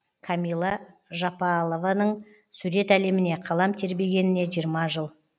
камила жапалованың сурет әлеміне қалам тербегеніне жиырма жыл